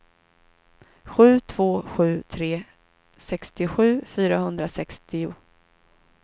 sju två sju tre sextiosju fyrahundrasextio